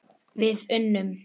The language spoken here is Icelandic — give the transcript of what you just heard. Við unnum!